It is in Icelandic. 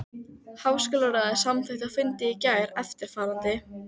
Háskólaráðið samþykkti á fundi í gær eftirfarandi